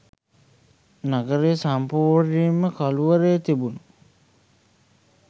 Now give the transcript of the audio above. නගරය සම්පූර්ණයෙන්ම කළුවරේ තිබුණු